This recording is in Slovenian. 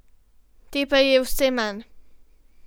Te pa je vse manj.